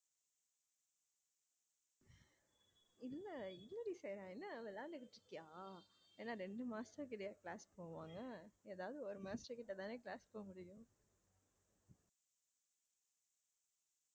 இல்ல என்ன டி என்ன விளையாண்டுட்டு இருக்கியா என்ன ரெண்டு master கிட்டையா class போவாங்க ஏதாவது ஒரு master கிட்ட தானே class போக முடியும்